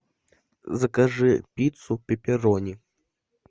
закажи пиццу пепперони